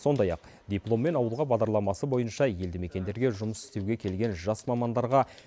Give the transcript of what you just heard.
сондай ақ дипломмен ауылға бағдарламасы бойынша елді мекендерге жұмыс істеуге келген жас мамандарға